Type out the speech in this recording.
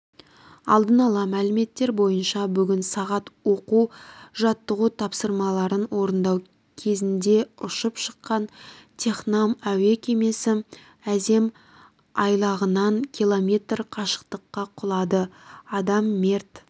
алдын ала мәліметтер бойынша бүгін сағат оқу-жаттығу тапсырмаларын орындау кезіндеұшып шыққан технам әуе кемесі азем айлағынан километр қашықтыққа құлады адам мерт